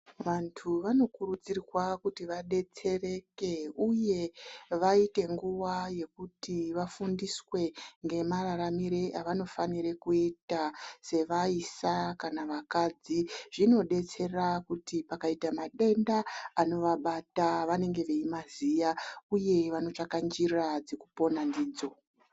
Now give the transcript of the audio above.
Vantu vanokurudzirwa kuti vadetsereke uye vaite nguva yekuti vafundiswe ngemararamire avanofanira kuita sevaisa kana vakadzi. Zvinodetsera kuti pakaita matenda anivabata vanenge veimaziva uye vanotsvaka njira dzekupona ndidzo.